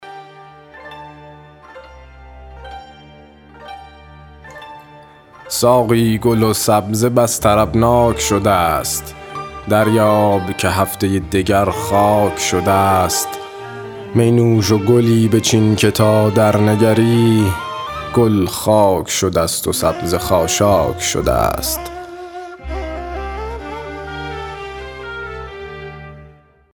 ساقی گل و سبزه بس طربناک شده ست دریاب که هفته دگر خاک شده ست می نوش و گلی بچین که تا درنگری گل خاک شده ست و سبزه خاشاک شده ست